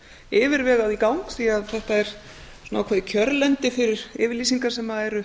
yfirvegað í gang því þetta er ákveðið kjörlendi fyrir yfirlýsingar sem eru